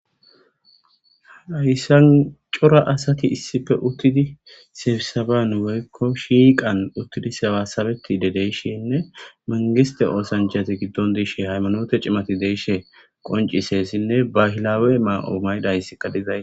aysancora asati issife uttidi sebisabanu weykko shiiqan uttidi sewasabeti dedeyshinne mangiste oosanjchati giddon diishe haymanoote cimati deeshe qoncisessinne bahilaawe maa7oomaydayssika dizays